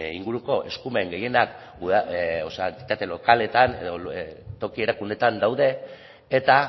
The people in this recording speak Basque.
inguruko eskumen gehienak entitate lokaletan edo toki erakundeetan daude eta